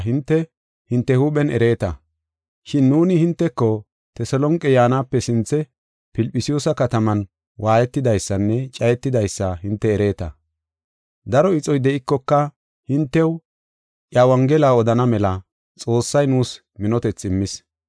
Shin nuuni hinteko Teselonqe yaanape sinthe Filphisiyuusa kataman waayetidaysanne cayetidaysa hinte ereeta. Daro ixoy de7ikoka hintew iya Wongela odana mela Xoossay nuus minotethi immis.